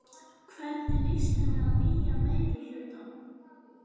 Hvernig líst henni á nýja meirihlutann?